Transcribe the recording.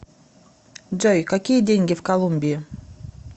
джой какие деньги в колумбии